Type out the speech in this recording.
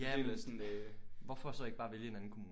Ja men hvorfor så ikke bare vælge en anden kommune?